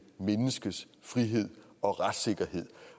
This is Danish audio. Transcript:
menneskes frihed og retssikkerhed